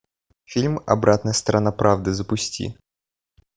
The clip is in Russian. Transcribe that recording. фильм обратная сторона правды запусти